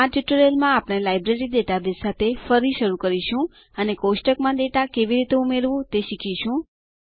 આ ટ્યુટોરીયલમાં આપણે લાઇબ્રેરી ડેટાબેઝ સાથે ફરી શરુ કરીશું અને કોષ્ટકમાં ડેટા કેવી રીતે ઉમેરવું તે શીખીશું